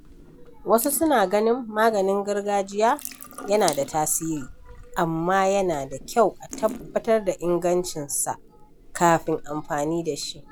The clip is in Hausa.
Wasu suna ganin maganin gargajiya yana da tasiri, amma yana da kyau a tabbatar da ingancinsa kafin amfani da shi.